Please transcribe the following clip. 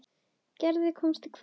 En Gerður komst hvergi.